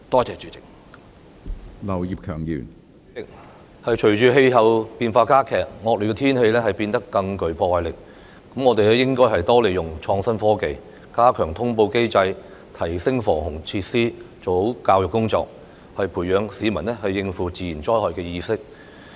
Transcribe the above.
主席，隨着氣候變化加劇，惡劣天氣變得更具破壞力，我們應該多利用創新科技，加強通報機制，提升防洪設施，完善教育工作，培養市民應付自然災害的意識。